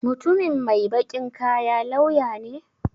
Mutumin mai baƙin kaya lauya ne?